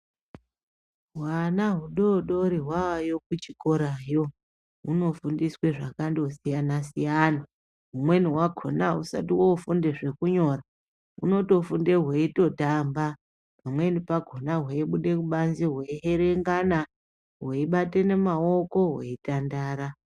Hwana mudodori hwayo kuchikora hunofundiswa zvakandosiyana siyana humweni hwakona ahusati hofunda zvekunyora hunotofunda zvekutotamba pamweni pakona hweibuda pabanze hweibatana maoko hweitandara